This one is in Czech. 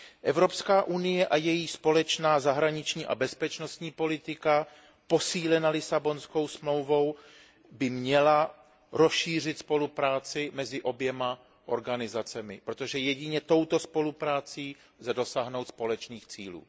Evropská unie a její společná zahraniční a bezpečnostní politika posílena Lisabonskou smlouvou by měla rozšířit spolupráci mezi oběma organizacemi, protože jedině touto spoluprácí lze dosáhnout společných cílů.